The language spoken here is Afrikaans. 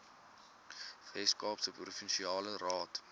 weskaapse provinsiale raad